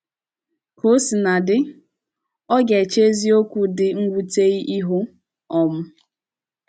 Ka o sina dị, ọ ga - eche eziokwu dị mwute ihu um.